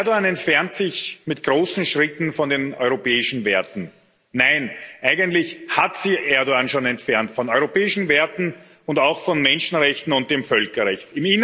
Erdoğan entfernt sich mit großen Schritten von den europäischen Werten. Nein, eigentlich hat sich Erdoğan schon entfernt von europäischen Werten und auch von Menschenrechten und dem Völkerrecht.